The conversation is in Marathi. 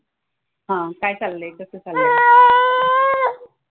हां काय चाललंय? कसं चाललंय?